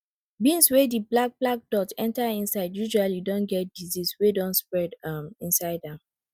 beans wey di black black dot enter inside usually don get disease wey don spread um inside am